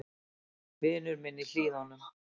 Vinur minn í Hlíðunum.